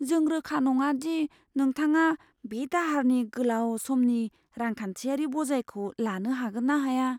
जों रोखा नङा दि नोंथाङा बे दाहारनि गोलाव समनि रांखान्थियारि बजायखौ लानो हागोन ना हाया।